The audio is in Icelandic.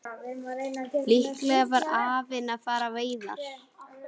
Líklega var afinn að fara á veiðar.